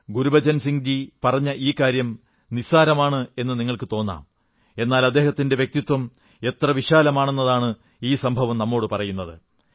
ഗുരുബച്ചൻ സിംഗ്ജി പറഞ്ഞ ഈ കാര്യം നിസ്സാരമെന്നു തോന്നാം എന്നാൽ അദ്ദേഹത്തിന്റെ വ്യക്തിത്വം എത്ര വിശാലമാണെന്നാണ് ഈ സംഭവം നമ്മോടു പറയുന്നത്